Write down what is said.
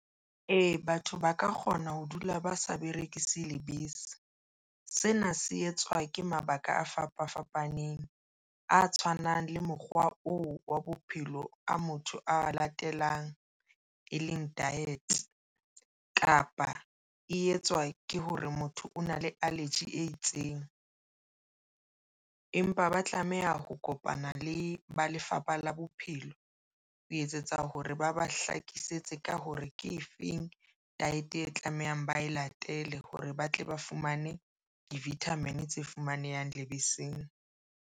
E, batho ba ka kgona ho dula ba sa berekise lebese. Sena se etswa ke mabaka a fapa fapaneng a tshwanang le mokgwa oo wa bophelo a motho a latelang e leng diet kapa e etswa ke hore motho o na le allergy e itseng, empa ba tlameha ho kopana le ba Lefapha la Bophelong ho etsetsa hore ba ba hlakisetse ka hore ke efeng diet e tlamehang ba e latele hore ba tle ba fumane di-vitamin tse fumanehang lebeseng.